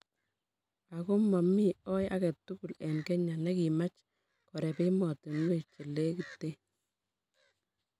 aku momi oi age tugul eng Kenya nekimach koreb emotinwek chelekiten